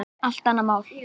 Allt annað mál.